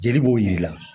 Jeli b'o yir'i la